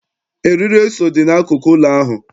Arịrị eso dị n'akụkụ ụlọ ahụ.